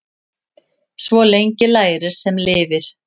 Svo lengi lærir sem lifir.